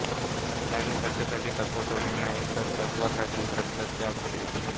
त्यांनी सत्तेसाठी तत्त्व सोडले नाहीत तर तत्त्वासाठी सत्तात्याग केला